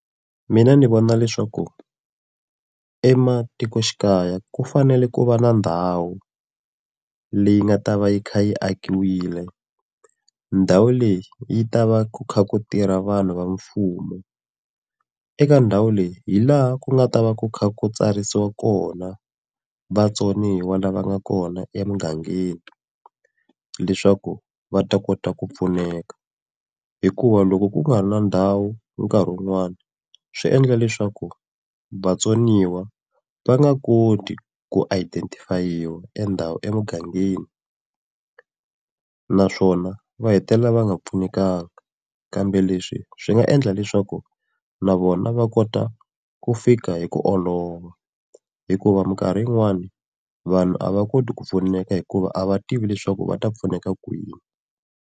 Mina ni vona leswaku ematikoxikaya ku fanele ku va na ndhawu leyi nga ta va yi kha yi akiwile, ndhawu leyi yi ta va ku kha ku tirha vanhu va mfumo. Eka ndhawu leyi hi laha ku nga ta va ku kha ku tsarisiwa kona vatsoniwa lava nga kona ya emugangeni, leswaku va ta kota ku pfuneka. Hikuva loko ku nga ri na ndhawu nkarhi wun'wani, swi endla leswaku vatsoniwa va nga koti ku identify-iwa endha emugangeni naswona va hetelela va nga pfunekangi. Kambe leswi swi nga endla leswaku na vona va kota ku fika hi ku olova, hikuva minkarhi yin'wani vanhu a va koti ku pfuneka hikuva a va tivi leswaku va ta pfuneka kwini.